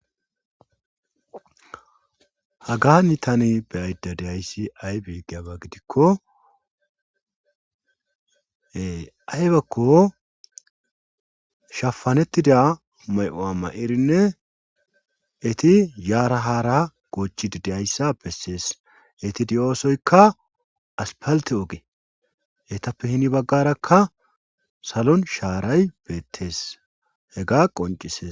Hagani tani be aydda diyayssi ay beeggeyaba gidikko ahybakko shafanettida may7o7a ma7irinne eti yaarahara goochi didehayssa bessees eti di7oosoykka aspalte oge hetappe hini baggarakka salon shaaray beettees he ga qoncisees.